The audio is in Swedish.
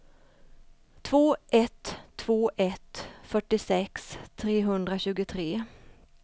två ett två ett fyrtiosex trehundratjugotre